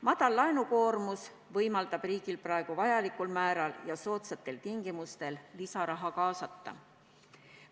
Väike laenukoormus võimaldab riigil praegu vajalikul määral ja soodsatel tingimustel lisaraha kaasata.